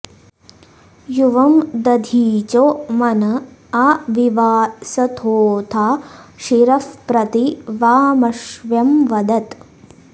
यु॒वं द॑धी॒चो मन॒ आ वि॑वास॒थोऽथा॒ शिरः॒ प्रति॑ वा॒मश्व्यं॑ वदत्